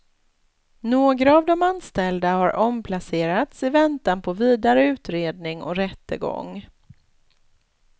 Några av de anställda har omplacerats i väntan på vidare utredning och rättegång.